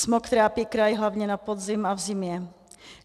Smog trápí kraj hlavně na podzim a v zimě.